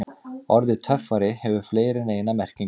Orðið töffari hefur fleiri en eina merkingu.